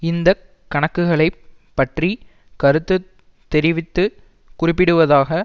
இந்த கணக்குகளைப் பற்றி கருத்து தெரிவித்து குறிப்பிடுவதாவது